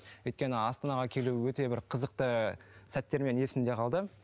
өйткені астанаға келу өте бір қызықты сәттермен есімде қалды